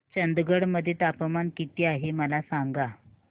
चंदगड मध्ये तापमान किती आहे मला सांगा